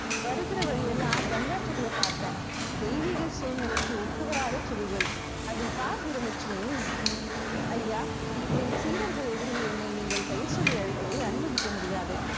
வருகிற வழியெல்லாம் கஞ்சா செடிய பார்த்தேன். தெய்வீக சூழ்நிலைக்கு ஒத்துவராத செடிகள் அதில் பார் வீர லட்சுமி ஐயா, என் சீடர்கள் எதிரில் என்னை நீங்கள் பெயர் சொல்லி அழைப்பதை அனுமதிக்க முடியாது.